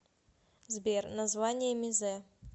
сбер название мезе